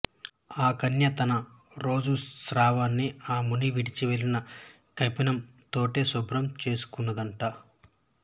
ఆ కన్య తన రజో శ్రావాన్ని ఆ ముని విడిచి వెళ్లిన కౌపీనం తోటే శుభ్రం చేసుకొందట